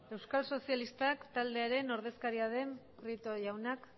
euskal sozialistak taldearen ordezkariaren prieto jaunak